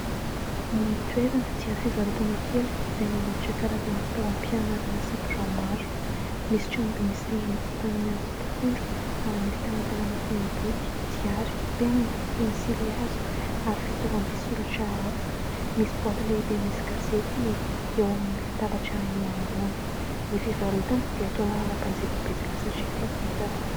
Ny toerana dia fivarotana kely izay manolotra karazana fitaovam-pianarana sy birao maro. Misy trano be misy rindrina vita amin'ny hazo sy tafondro ary misy talantalana feno boky, diary, penina, pensilihazo ary fitaovam-pisoratra hafa. Misy boaty lehibe misy gazety eo amin'ny latabatra ; eo anoloana ny fivarotana dia toa manana mpanjifa betsaka satria feno entana.